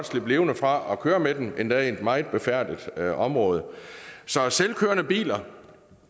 slippe levende fra at køre med dem endda i et meget befærdet område så selvkørende biler